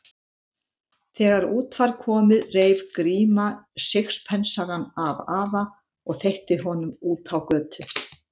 Þegar út var komið reif Gríma sixpensarann af afa og þveitti honum út á götu.